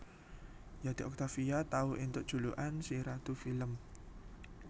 Yati Octavia tau éntuk julukan si ratu film